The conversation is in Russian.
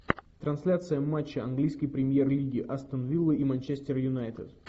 трансляция матча английской премьер лиги астон вилла и манчестер юнайтед